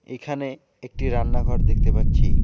এখানে একটি রান্নাঘর দেখতে পাচ্ছি।